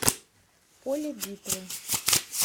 поле битвы